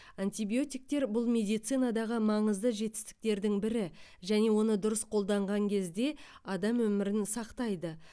антибиотиктер бұл медицинадағы маңызды жетістіктердің бірі және оны дұрыс қолданған кезде адам өмірін сақтайды